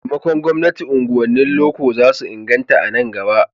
Da taimakon gwamnati, unguwannin loko za su inganta a nan gaba.